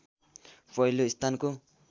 पहिलो स्थानको